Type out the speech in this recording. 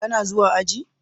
Ka na zuwa aji?